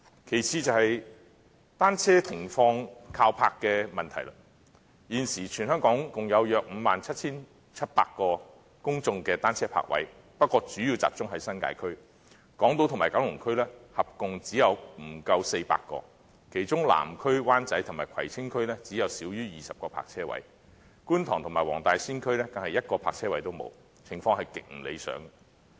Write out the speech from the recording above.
其次是單車停泊的問題。現時全香港共有約 57,700 個公眾單車泊位，但主要集中在新界區，而港島區和九龍區合共只有不足400個，其中南區、灣仔及葵青區只有少於20個泊車位，觀塘及黃大仙區更是一個泊車位也沒有，情況極不理想。